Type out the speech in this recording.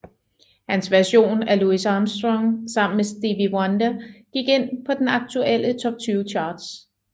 Hans version af Louis Armstrong sammen med Stevie Wonder gik ind på den aktuelle top 20 charts